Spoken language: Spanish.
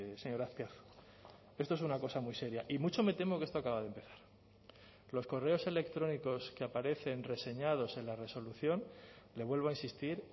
señor azpiazu esto es una cosa muy seria y mucho me temo que esto acaba de empezar los correos electrónicos que aparecen reseñados en la resolución le vuelvo a insistir